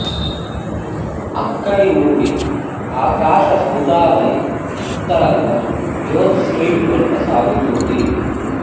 అక్కడి నుండి ఆకాశసౌధావళి ఉత్తరంగా యోంజ్ స్ట్రీట్ వెంట సాగుతుంది